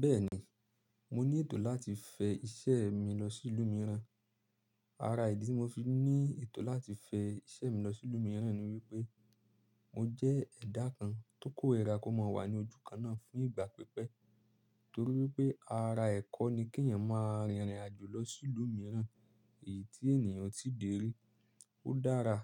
Bẹ́ẹ̀ni, mo ní ètò láti fẹ iṣẹ́ mi lọ sí ìlú mìíràn. Ara ìdí tí mo fi ní ètò láti fẹ iṣẹ́ mi lọ sí ìlú mìíràn ni wípé mo jẹ́ ẹ̀dà kan tó kò rẹra kó má wà ní ojú kan náà fún ìgbà pípẹ́, torí wípé ara ẹ̀kọ́ ni kí ẹ̀yàn má rìnrìn àjò lọ sí ìlú mìíràn, èyí tí ènìyàn o ti dèrí. Ó dára